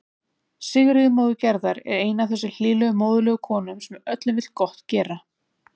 Sigríður móðir Gerðar er ein af þessum hlýlegu móðurlegu konum sem öllum vill gott gera.